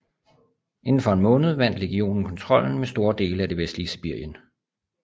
Inden for en måned vandt legionen kontrollen med store dele af det vestlige Sibirien